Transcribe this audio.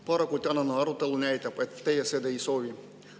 Paraku tänane arutelu näitab, et teie seda ei soovi.